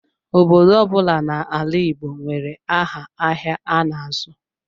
Obodo ọbula n'ala Igbo nwere áhà ahịa ha n'azụ.